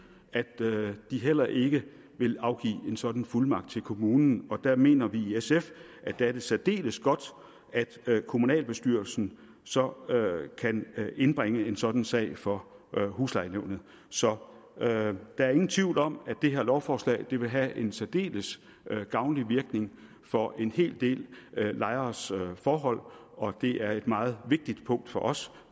at de heller ikke vil afgive en sådan fuldmagt til kommunen og der mener vi i sf at det er særdeles godt at kommunalbestyrelsen så kan indbringe en sådan sag for huslejenævnet så der er ingen tvivl om at det her lovforslag vil have en særdeles gavnlig virkning for en hel del lejeres forhold og det er et meget vigtigt punkt for os